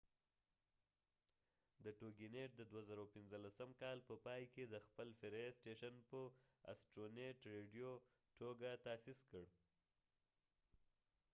د2015 کال په پای کې toginet د astronet radio د خپل فرعي سټیشن په ټوګه تأسیس کړ